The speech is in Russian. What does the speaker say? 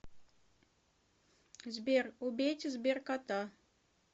сбер убейте сберкота